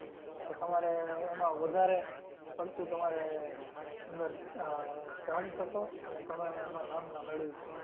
તો તમારે એમાં વધારે પડતું તમારે અંદર આહ જાણી શકો અને તમે એમાં નામના મેળવી શકો.